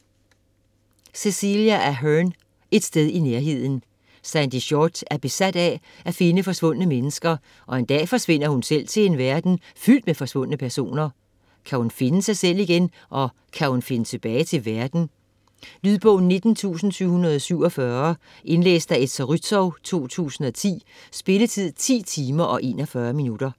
Ahern, Cecelia: Et sted i nærheden Sandy Shortt er besat af at finde forsvundne mennesker, og en dag forsvinder hun selv til en verden fyldt med forsvundne personer. Kan hun finde sig selv igen, og kan hun finde tilbage til verden? Lydbog 19747 Indlæst af Esther Rützou, 2010. Spilletid: 10 timer, 41 minutter.